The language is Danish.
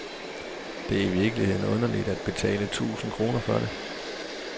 Det er i virkeligheden underligt at betale tusind kroner for det.